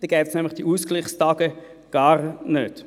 Dann gäbe es nämlich die Ausgleichstage gar nicht.